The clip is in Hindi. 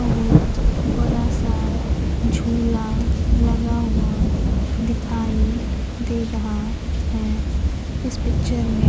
बहुत बड़ा सा झूला लगा हुआ दिखाई दे रहा है इस पिक्चर में।